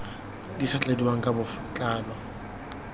di sa tladiwang ka botlalo